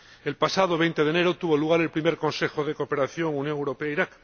El pasado 20 de enero tuvo lugar el primer Consejo de Cooperación Unión Europea Irak.